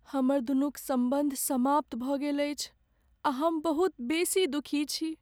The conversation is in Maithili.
हमरदुनूक सम्बन्ध समाप्त भऽ गेल अछि आ हम बहुत बेसी दुखी छी।